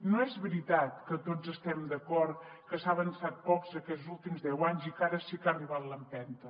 no és veritat que tots estem d’acord que s’ha avançat poc aquests últims deu anys i que ara sí que ha arribat l’empenta